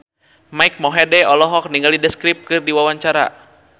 Mike Mohede olohok ningali The Script keur diwawancara